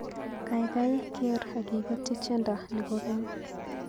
Gaigai geer agiketyi tyendo ni kogeny